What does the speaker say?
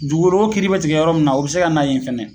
Dugugoloko kiiri be tigɛ yɔrɔ min na o be se ka na yen fɛnɛ